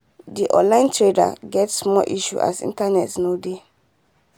the online trader get small issue as network not dey